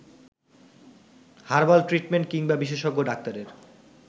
herbal treatment কিংবা বিশেষজ্ঞ ডাক্তারের